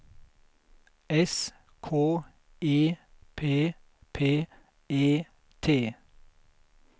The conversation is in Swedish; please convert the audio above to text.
S K E P P E T